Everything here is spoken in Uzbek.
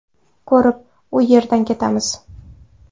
Ko‘rib, u yerdan ketamiz.